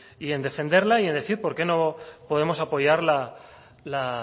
y en defenderla y en decir por qué no podemos apoyar